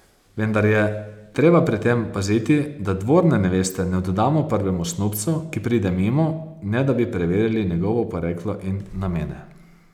Vendar je treba pri tem paziti, da dvorne neveste ne oddamo prvemu snubcu, ki pride mimo, ne da bi preverili njegovo poreklo in namene.